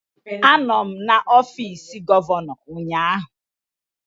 Anọ m n'ọfịs gọvanọ ụnyaahụ.